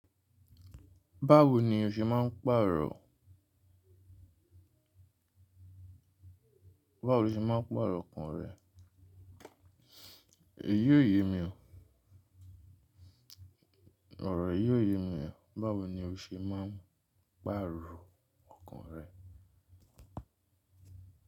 Báwo lo ṣe máa ń pa ero ọkàn rẹ? Èyí ò ye mi ọ. Òrò yìí ò ye mi ọ. Báwo ni o ṣe máa ń pàrọ̀ ọkàn rẹ?